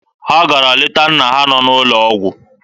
Ha gara leta nna ha nọ n'ụlọ ọgwụ.